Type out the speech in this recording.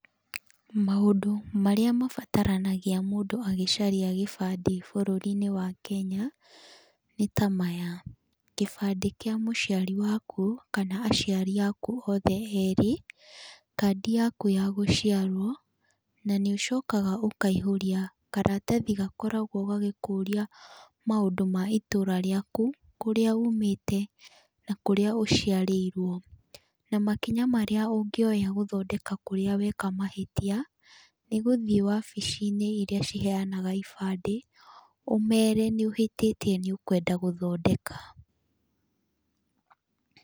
Maũndũ marĩa mabataranagia mũndũ agĩcaria gĩbandĩ bũrũri-inĩ wa Kenya nĩ ta maya; kĩbande kĩa mũciari waku kana aciari aku othe erĩ, kandi yaku ya gũciarũo, na nĩ ũcokaga ũkaihũria karatathi gakoragũo gagĩkũria maũndũ ma itũra rĩaku kũrĩa uumĩte, na kũrĩa ũciarĩirũo. Na makinya marĩa ũngĩoya gũthondeka kũrĩa weka mahĩtia, nĩ gũthiĩ wabici-inĩ irĩa iheanaga ibande, ũjmere nĩ ũhĩtĩtie nĩ ũkwenda gũthondeka.